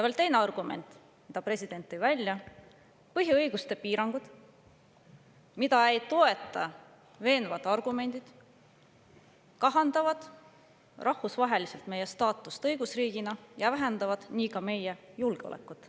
Veel teine argument, mille president välja tõi: põhiõiguste piirangud, mida ei toeta veenvad argumendid, kahandavad rahvusvaheliselt meie staatust õigusriigina ja vähendavad nii ka meie julgeolekut.